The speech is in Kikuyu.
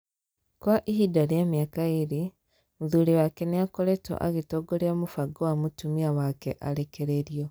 Kwa ihinda rĩa mĩaka ĩĩrĩ, mũthuri wake nĩ aakoretwo agĩtongoria mũbango wa mutumia wake arekererio.